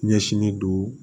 Ɲɛsinnen don